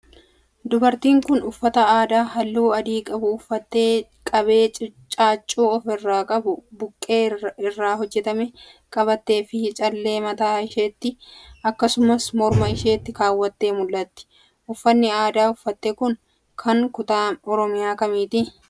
Dubartiin kun, uffata aadaa haalluu adii qabu uffattee, qabee caaccuu of irraa qabu buqqee irraa hojjatame qabattee fi callee mataa isheetti akkasumas morma isheetti kaawwattee mul'ati. Uffanni aadaan uffatte kun, kan kutaa Oromiyaa kamiiti?